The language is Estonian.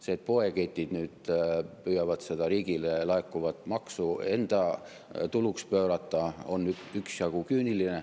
See, et poeketid püüavad nüüd seda riigile laekuvat maksu enda tuluks pöörata, on üksjagu küüniline.